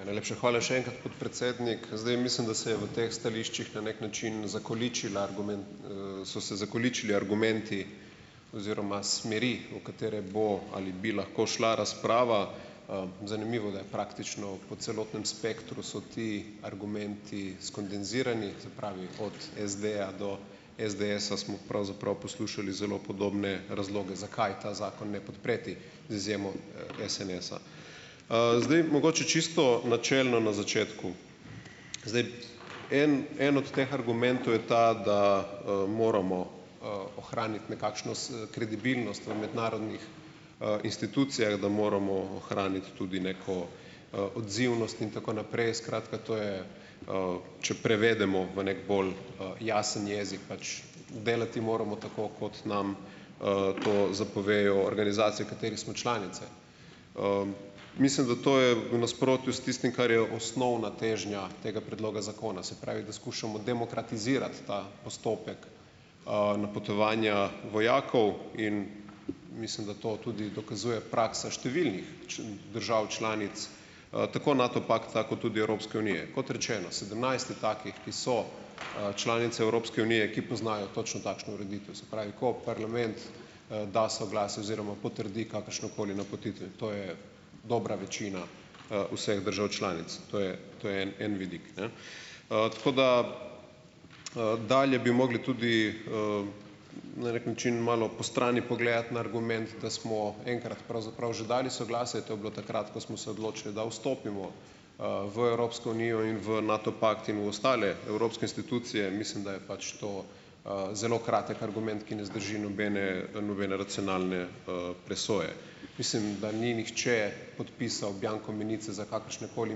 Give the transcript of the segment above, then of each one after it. Ja, najlepša hvala še enkrat, podpredsednik. Zdaj mislim, da se je v teh stališčih na neki način zakoličila so se zakoličili argumenti oziroma smeri, o katere bo ali bi lahko šla razprava. Zanimivo, da je praktično po celotnem spektru so ti argumenti skondenzirani. Se pravi, od SD-ja do SDS-a smo pravzaprav poslušali zelo podobne razloge, zakaj ta zakon ne podpreti, z izjemo SNS-a. Zdaj mogoče čisto načelno na začetku. Zdaj. En en od teh argumentov je ta, da moramo ohraniti nekakšno kredibilnost v mednarodnih institucijah, da moramo ohraniti tudi neko odzivnost in tako naprej. Skratka, to je, če prevedemo v neki bolj jasen jezik pač delati moramo tako, kot nam to zapovejo organizacije, v katerih smo članice. Mislim, da to je v nasprotju s tistim, kar je osnovna težnja tega predloga zakona. Se pravi, da skušamo demokratizirati ta postopek napotovanja vojakov in mislim, da to tudi dokazuje praksa številnih držav članic, tako NATO pakta kot tudi Evropske unije. Kot rečeno, sedemnajst je takih, ki so članice Evropske unije, ki poznajo točno takšno ureditev. Se pravi, ko parlament da soglasje oziroma potrdi kakršnokoli napotitev, to je dobra večina vseh držav članic. To je to je en en vidik, ne. Tako da ... Dalje bi mogli tudi na neki način malo postrani pogledati na argument, da smo enkrat pravzaprav že dali soglasje. To je bilo takrat, ko smo se odločili, da vstopimo v Evropsko unijo in v NATO pakt in v ostale evropske institucije. Mislim, da je pač to zelo kratek argument, ki ne zdrži nobene nobene racionalne presoje. Mislim, da ni nihče podpisal bianko menice za kakršnekoli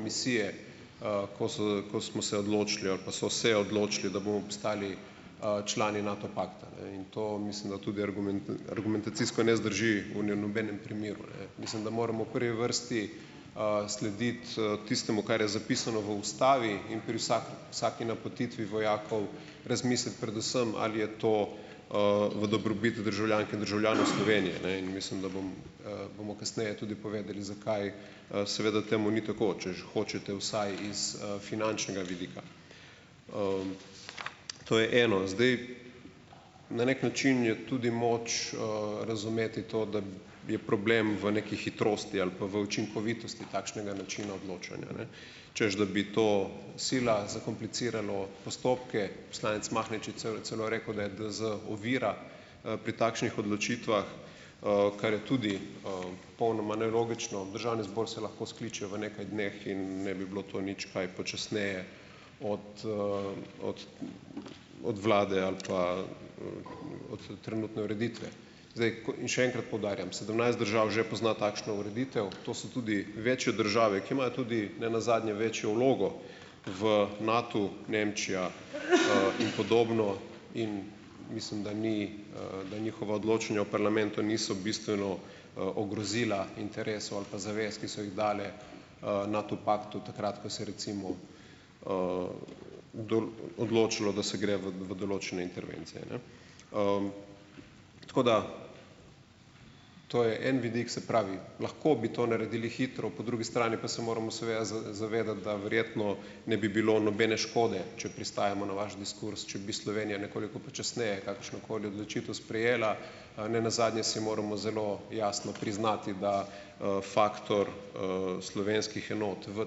misije, ko so ko smo se odločili ali pa so se odločili, da bomo postali člani NATO pakta, ne, in to mislim, da tudi argumentacijsko ne zdrži v, ne, nobenem primeru, ne. Mislim, da moramo v prvi vrsti slediti tistemu, kar je zapisano v Ustavi, in pri vsaki vsaki napotitvi vojakov razmisliti predvsem, ali je to v dobrobit državljank in državljanov Slovenije, ne. In mislim, da bom bomo kasneje tudi povedali, zakaj seveda temu ni tako, če že hočete, vsaj iz finančnega vidika. To je eno. Zdaj. Na neki način je tudi moč razumeti to, da je problem v neki hitrosti ali pa v učinkovitosti takšnega načina odločanja, ne, češ da bi to sila zakompliciralo postopke. Poslanec Mahnič je celo rekel, da je DZ ovira pri takšnih odločitvah, kar je tudi popolnoma nelogično. Državni zbor se lahko skliče v nekaj dneh in ne bi bilo to nič kaj počasneje od od od Vlade ali pa od trenutne ureditve. Zdaj, In še enkrat poudarjam, sedemnajst držav že pozna takšno ureditev. To so tudi večje države, ki imajo tudi ne nazadnje večjo vlogo v NATU, Nemčija in podobno, in mislim, da ni da njihova odločanja v parlamentu niso bistveno ogrozila interesov ali pa zavez, ki so jih dali NATO paktu takrat, ko se je recimo odločalo, da se gre v v določene intervencije, ne. Tako da. To je en vidik. Se pravi, lahko bi to naredili hitro. Po drugi strani pa se moramo seveda zavedati, da verjetno ne bi bilo nobene škode, če pristajamo na vaš diskurz, če bi Slovenija nekoliko počasneje kakršnokoli odločitev sprejela. Ne nazadnje si moramo zelo jasno priznati, da faktor slovenskih enot v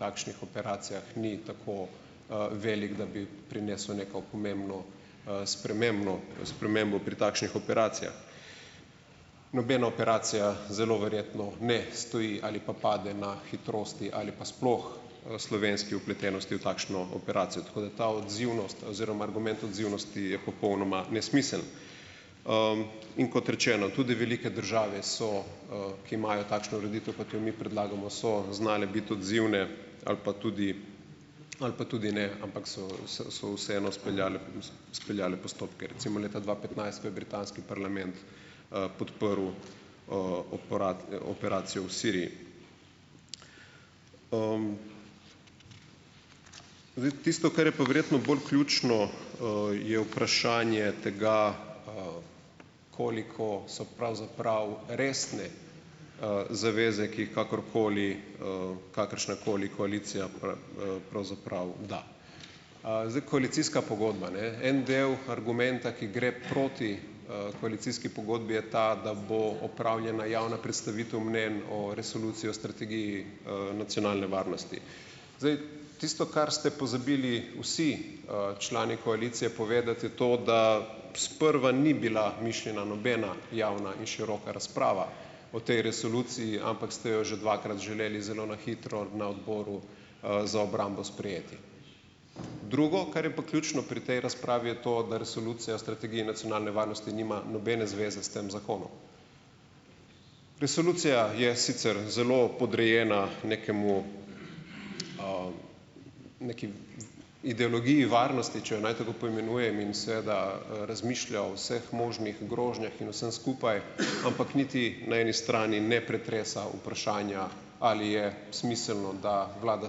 takšnih operacijah ni tako velik, da bi prinesel neko pomembno spremembo spremembo pri takšnih operacijah. Nobena operacija zelo verjetno, ne, stoji ali pa pade na hitrosti ali pa sploh slovenski vpletenosti v takšno operacijo. Tako da ta odzivnost oziroma argument odzivnosti je popolnoma nesmiseln. In kot rečeno, tudi velike države so, ki imajo takšno ureditev, ko jo mi predlagamo, so znali biti odzivne ali pa tudi ali pa tudi ne, ampak so so se vseeno izpeljale izpeljale postopke, recimo leta dva petnajst, ko je britanski parlament podprl operacijo v Siriji. Zdaj tisto, kar je pa verjetno bolj ključno, je vprašanje tega, koliko so pravzaprav resne zaveze, ki jih kakorkoli kakršnakoli koalicija pravzaprav da. Zdaj koalicijska pogodba, ne, en del argumenta, ki gre proti koalicijski pogodbi, je ta, da bo opravljena javna predstavitev mnenj o Resoluciji o strategiji nacionalne varnosti. Zdaj, tisto, kar ste pozabili vsi člani koalicije povedati, je to da, sprva ni bila mišljena nobena javna in široka razprava o tej resoluciji, ampak ste jo že dvakrat želeli zelo na hitro na Odboru za obrambo sprejeti. Drugo, kar je pa ključno pri tej razpravi, je to, da Resolucija o strategiji nacionalne varnosti nima nobene zveze s tem zakonom. Resolucija je sicer zelo podrejena nekemu neki ideologiji varnosti, če jo naj tako poimenujem, in seveda, razmišlja o vseh možnih grožnjah in vsem skupaj, ampak niti na eni strani ne pretresa vprašanja, ali je smiselno, da Vlada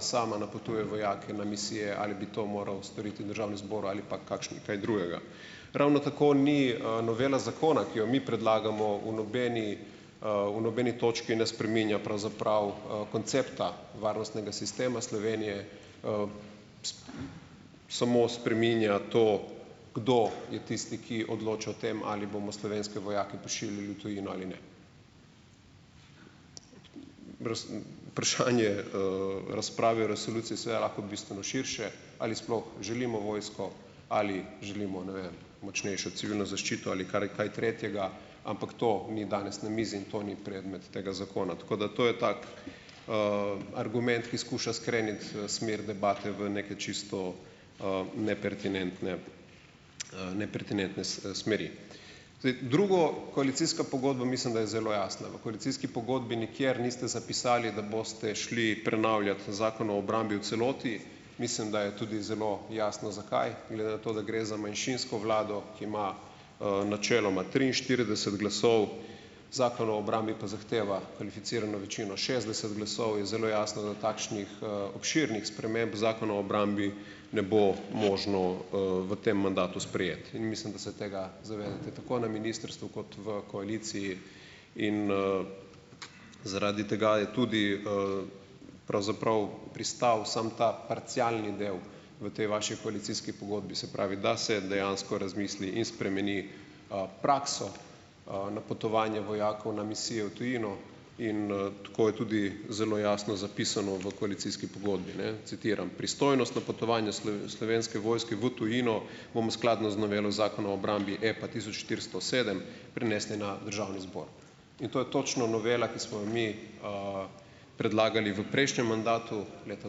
sama napotuje vojake na misije ali bi to moral storiti Državni zbor ali pa kakšni, kaj drugega. Ravno tako ni novela zakona, ki jo mi predlagamo, v nobeni v nobeni točki ne spreminja pravzaprav koncepta varnostnega sistema Slovenije, samo spreminja to, kdo je tisti, ki odloča o tem, ali bomo slovenske vojake pošiljali v tujino ali ne. vprašanje razprave o resoluciji je seveda lahko bistveno širše - ali sploh želimo vojsko, ali želimo, ne vem, močnejšo civilno zaščito ali kar kaj tretjega, ampak to ni danes na mizi in to ni predmet tega zakona, tako da, to je tako argument, ki skuša skreniti smer debate v nekaj čisto "nepertinentne" nepertinentne smeri. drugo, koalicijska pogodba, mislim, da je zelo jasna. V koalicijski pogodbi nikjer niste zapisali, da boste šli prenavljat Zakon o obrambi v celoti. Mislim, da je tudi zelo jasno, zakaj, glede na to, da gre za manjšinsko vlado, ki ima načeloma triinštirideset glasov, Zakon o obrambi pa zahteva kvalificirano večino šestdeset glasov, je zelo jasno, da takšnih obširnih sprememb Zakona o obrambi ne bo možno v tem mandatu sprejeti, in mislim, da se tega zavedate, tako na ministrstvu kot v koaliciji, in zaradi tega je tudi pravzaprav pristal samo ta parcialni del v tej vaši koalicijski pogodbi. Se pravi, da se dejansko razmisli in spremeni prakso, napotovanje vojakov na misijo v tujino in tako je tudi zelo jasno zapisano v koalicijski pogodbi, ne. Citiram: "Pristojnost napotovanja Slovenske vojske v tujino bomo skladno z novelo Zakona o obrambi, EPA tisoč štiristo sedem, prenesli na Državni zbor." In to je točno novela, ki smo jo mi predlagali v prejšnjem mandatu, leta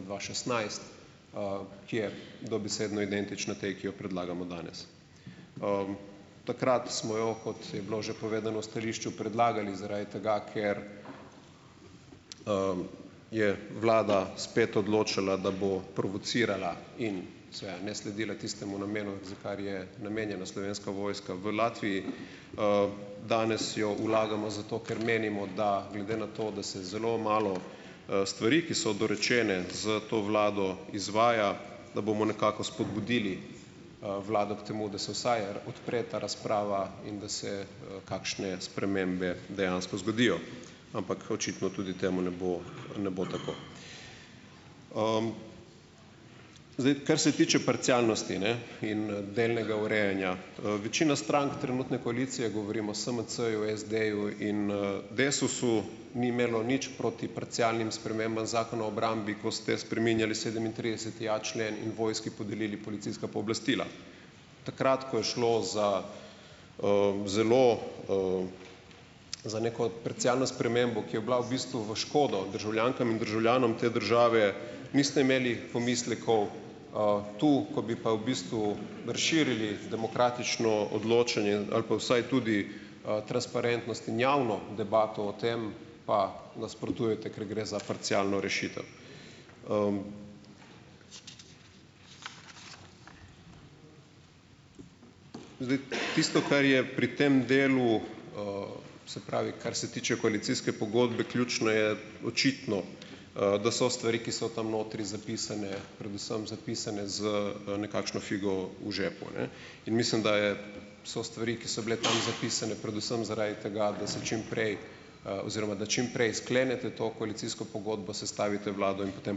dva šestnajst, ki je dobesedno identična tej, ki jo predlagamo danes. Takrat smo jo, kot je bilo že povedano v stališču, predlagali zaradi tega, ker je vlada spet odločala, da bo provocirala in seveda ne sledila tistemu namenu, za kar je namenjena Slovenska vojska v Latviji. Danes jo vlagamo zato, ker menimo da, glede na to, da se zelo malo stvari, ki so dorečene, s to vlado izvaja, da bomo nekako spodbudili vlado k temu, da se vsaj odpre ta razprava in da se kakšne spremembe dejansko zgodijo, ampak očitno tudi temu ne bo ne bo tako. Zdaj, kar se tiče parcialnosti, ne, in delnega urejanja. Večina strank trenutne koalicije - govorim o SMC-ju, SD-ju in DESUS-u - ni imelo nič proti parcialnim spremembam Zakona o obrambi, ko ste spreminjali sedemintrideseti a člen in vojski podelili policijska pooblastila. Takrat, ko je šlo za zelo, za neko parcialno spremembo, ki je bila v bistvu v škodo državljankam in državljanom te države, niste imeli pomislekov, tu, ko bi pa v bistvu razširili demokratično odločanje ali pa vsaj tudi transparentnost in javno debato o tem, pa nasprotujete, ker gre za parcialno rešitev. Zdaj, tisto, kar je pri tem delu, se pravi, kar se tiče koalicijske pogodbe, ključno, je očitno, da so stvari, ki so tam notri zapisane, predvsem zapisane z nekakšno figo v žepu, ne in mislim, da je so stvari, ki so bile tam zapisane, predvsem zaradi tega, da se čim prej oziroma da čim prej sklenete to koalicijsko pogodbo, sestavite vlado in potem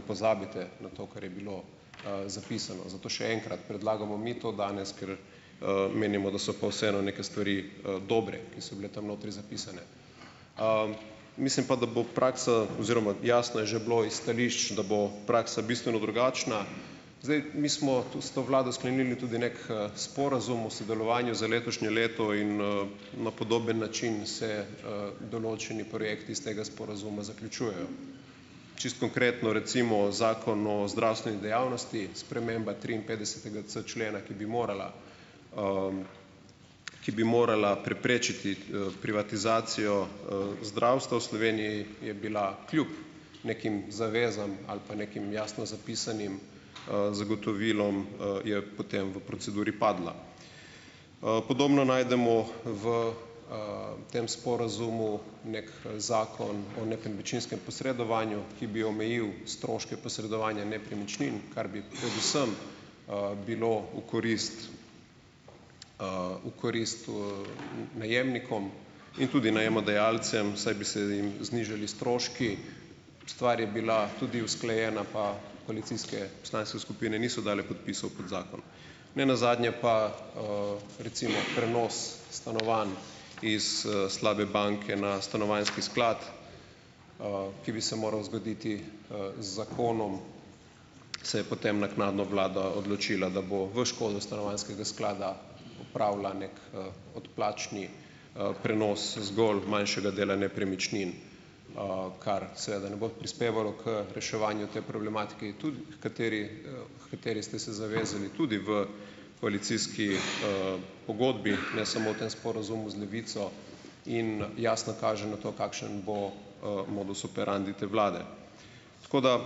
pozabite na to, kar je bilo zapisano. Zato še enkrat, predlagamo mi to danes, ker menimo, da so pa vseeno neke stvari dobre, ki so bile tam notri zapisane. Mislim pa, da bo praksa, oziroma jasno je že bilo iz stališč, da bo praksa bistveno drugačna. Zdaj, mi smo to s to vlado sklenili tudi neki sporazum o sodelovanju za letošnje leto in na podoben način se določeni projekti iz tega sporazuma zaključujejo. Čisto konkretno, recimo Zakon o zdravstveni dejavnosti, sprememba triinpetdesetega c člena, ki bi morala ki bi morala preprečiti privatizacijo zdravstva v Sloveniji, je bila kljub nekim zavezam ali pa nekim jasno zapisanim zagotovilom, je potem v proceduri padla. Podobno najdemo v tem sporazumu neki zakon o nekem večinskem posredovanju, ki bi omejil stroške posredovanja nepremičnin, kar bi predvsem bilo v korist v korist najemnikom in tudi najemodajalcem, saj bi se jim znižali stroški. Stvar je bila tudi usklajena, pa koalicijske poslanske skupine niso dale podpisov pod zakon. Ne nazadnje pa, recimo prenos stanovanj iz slabe banke na stanovanjski sklad, ki bi se moral zgoditi z zakonom, se je potem naknadno vlada odločila, da bo v škodo stanovanjskega sklada opravila neki odplačni prenos zgolj manjšega dela nepremičnin, kar seveda ne bo prispevalo k reševanju te problematike, h kateri h kateri ste se zavezali tudi v koalicijski pogodbi, ne samo v tem sporazumu z Levico. In jasno kaže na to, kakšen bo modus operandi te vlade. Tako da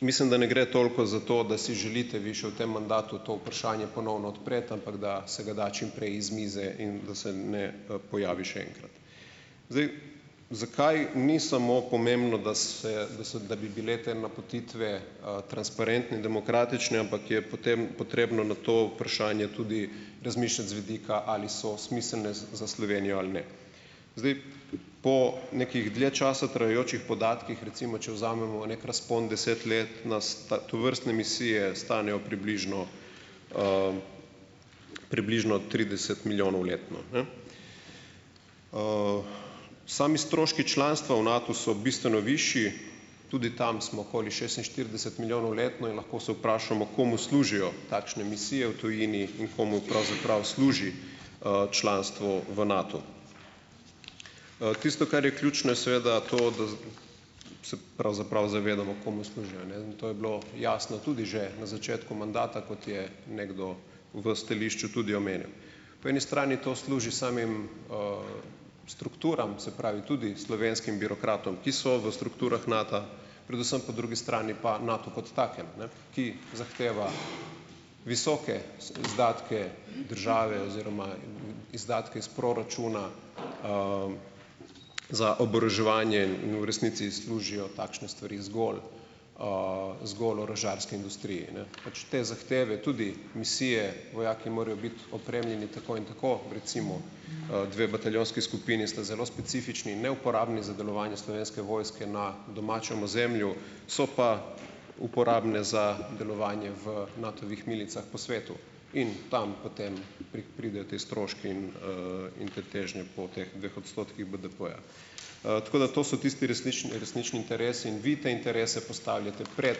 mislim, da ne gre toliko za to, da si želite vi še v tem mandatu to vprašanje ponovno odpreti, ampak da se ga da čim prej iz mize in da se ne pojavi še enkrat. Zdaj, zakaj ni samo pomembno, da se da se da bi bile te napotitve transparentne, demokratične, ampak je potem potrebno na to vprašanje tudi razmišljati z vidika, ali so smiselne za Slovenijo ali ne. Zdaj po nekih dlje časa trajajočih podatkih, recimo če vzamemo neki razpon deset let, nas tovrstne misije stanejo približno približno trideset milijonov letno, ne. Sami stroški članstva v NATU so bistveno višji. Tudi tam smo okoli šestinštirideset milijonov letno in lahko se vprašamo, komu služijo takšne misije v tujini in komu pravzaprav služi članstvo v NATU. Tisto, kar je ključno, je seveda to, da se pravzaprav zavedamo, komu služi, a ne. In to je bilo jasno tudi že na začetku mandata, kot je nekdo v stališču tudi omenil. Po eni strani to služi samim strukturam, se pravi tudi slovenskim birokratom, ki so v strukturah NATA, predvsem po drugi strani pa NATU kot takem, ne, ki zahteva visoke izdatke države oziroma izdatke iz proračuna za oboroževanje. In v resnici služijo takšne stvari zgolj zgolj orožarski industriji. Ne, pač te zahteve tudi misije, vojaki, morajo biti opremljeni tako in tako, recimo, dve bataljonski skupini sta zelo specifični in neuporabni za delovanje Slovenske vojske na domačem ozemlju, so pa uporabne za delovanje v Natovih milicah po svetu. In tam potem pridejo ti stroški in in te težnje po teh dveh odstotkih BDP-ja. Tako da to so tisti, resnični resnični interesi. In vi te interese postavljate pred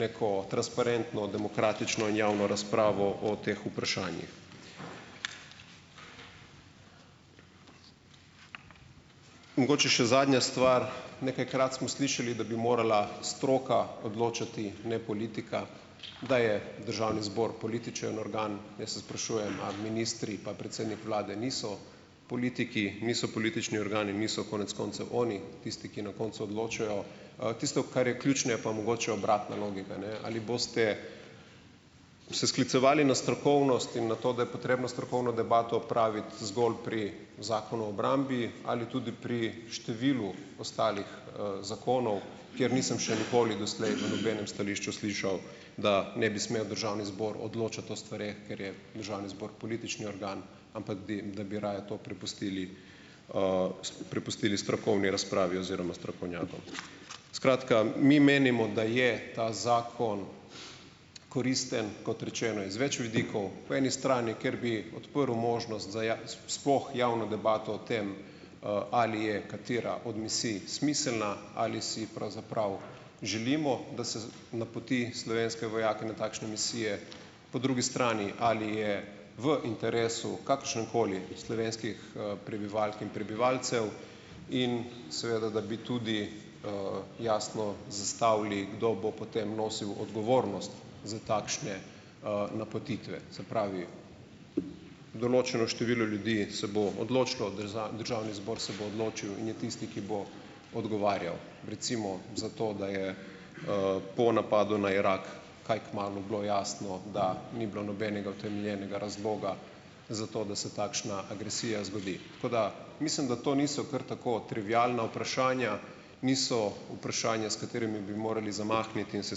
neko transparentno, demokratično in javno razpravo o teh vprašanjih. Mogoče še zadnja stvar. Nekajkrat smo slišali, da bi morala stroka odločati, ne politika. Da je Državni zbor političen organ. Jaz se sprašujem, a ministri pa predsednik vlade niso politiki, niso politični organi, niso konec koncev oni tisti, ki na koncu odločajo. Tisto, kar je ključno, je pa mogoče obratna logika, ne. Ali boste se sklicevali na strokovnost in na to, da je potrebno strokovno debato opraviti zgolj pri Zakonu o obrambi ali tudi pri številu ostalih zakonov, kjer nisem še nikoli doslej pri nobenem stališču slišal, da ne bi smel Državni zbor odločati o stvareh, ker je Državni zbor politični organ. Ampak da bi raje to prepustili prepustili strokovni razpravi oziroma strokovnjakom. Skratka, mi menimo, da je ta zakon koristen, kot rečeno iz več vidikov. Po eni strani, ker bi odprl možnost za sploh javno debato o tem, ali je katera od misij smiselna, ali si pravzaprav želimo, da se napoti slovenske vojake na takšne misije. Po drugi strani, ali je v interesu - kakršnemkoli - slovenskih prebivalk in prebivalcev in seveda, da bi tudi jasno zastavili, kdo bo potem nosil odgovornost za takšne napotitve. Se pravi določeno število ljudi se bo odločilo, Državni zbor se bo odločil in je tisti, ki bo odgovarjal recimo za to, da je po napadu na Irak kaj kmalu bilo jasno, da ni bilo nobenega utemeljenega razloga zato, da se takšna agresija zgodi. Tako, da mislim, da to niso kar tako trivialna vprašanja, niso vprašanja, s katerimi bi morali zamahniti in se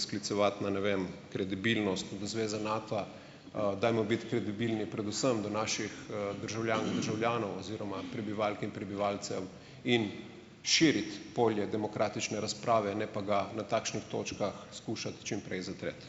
sklicevati na ne vem kredibilnost v zveze NATA. Dajmo biti kredibilni predvsem do naših državljank in državljanov oziroma prebivalk in prebivalcev in širiti polje demokratične razprave, ne pa ga na takšnih točkah skušati čim prej zatreti.